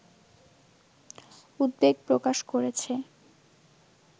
উদ্বেগ প্রকাশ করেছে